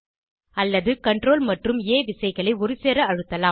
அல்லது CTRL மற்றும் ஆ விசைகளை ஒருசேர அழுத்தலாம்